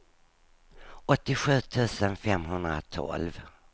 åttiosju tusen femhundratolv